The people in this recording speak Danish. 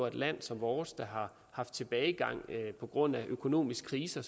et land som vores der har haft tilbagegang på grund af økonomisk krise